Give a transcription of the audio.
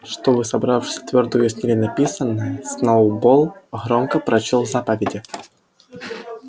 чтобы собравшиеся твёрдо уяснили написанное сноуболл громко прочёл заповеди